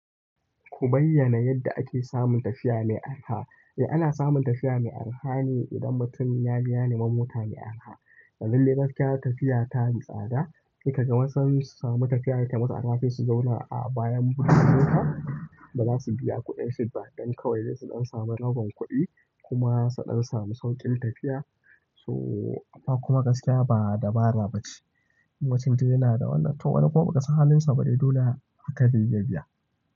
Ku bayyana yadda ake samun tafiya mai arha. Eh ana samun tafiya mai arha ne idan mutum ya biya neman mota mai arha. Domin dai gaskiya tafiya ta mai tsada, saika ga wasan su samu tafiya da ta masu arha su zauna a bayan buga mota, da za su biya kuɗin shiga don kawai ne su ɗan samu rabon kuɗi kuma su ɗan samu sauƙin tafiya. So amma kuma gaskiya ba dabara ba ce. In mutum dai yana da wannan to wannan kuma ba ka san halinsa ba dai dole aka jefa biya.